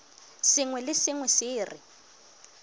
sengwe le sengwe se re